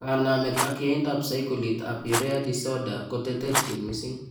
Kanaamet ak yaindab saikolit ab urea disoder koteterchin mising'